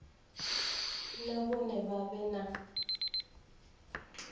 na vhone vha vhe na